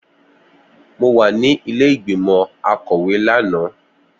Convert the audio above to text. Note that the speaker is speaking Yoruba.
Mo wà ní ilé ìgbìmọ̀ akọ̀wé lánàá